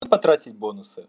потратить бонусы